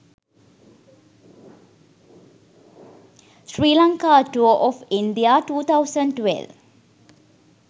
sri lanka tour of india 2012